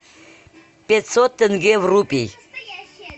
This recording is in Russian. пятьсот тенге в рупи